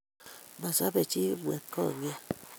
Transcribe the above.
Masobei jii kipng'etkong'ia